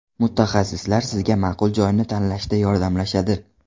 Mutaxassislar sizga ma’qul joyni tanlashda yordamlashadi.